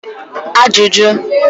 Questions